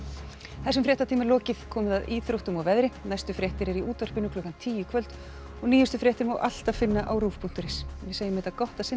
þessum fréttatíma er lokið komið að íþróttum og veðri næstu fréttir eru í útvarpi klukkan tíu í kvöld og nýjustu fréttir má alltaf finna á rúv punktur is en við segjum þetta gott að sinni